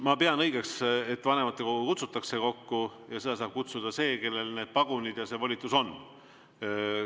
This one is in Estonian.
Ma pean õigeks, et vanematekogu kutsutakse kokku, ja seda saab kokku kutsuda see, kellel need pagunid ja see volitus on.